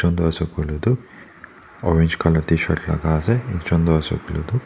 tu orange colour tshirt laka ase ekjon toh ase koilae tu.